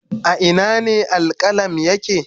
A Ina ne Al-qualm yake